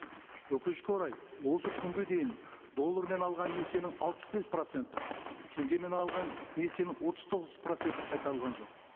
өкінішке орай осы күнге дейін доллармен алған несиенің алпыс бес проценті теңгемен алған несиенің отыз тоғыз проценті қайтарылған жоқ